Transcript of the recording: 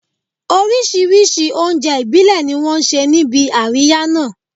Oríṣìíríṣìí oúnjẹ ìbílẹ̀ ni wọ́n ṣe níbi àríyá náà